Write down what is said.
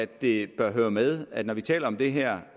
det bør høre med at når vi taler om det her